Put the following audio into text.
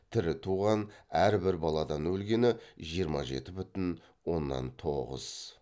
тірі туған әр бір баладан өлгені жиырма жеті бүтін оннан тоғыз